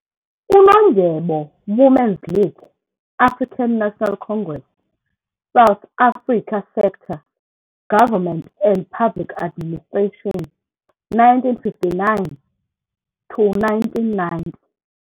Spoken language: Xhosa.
Unondyebo - Women's League, African National Congress, South Africa Sector- Government and Public Administration, 1959-1990.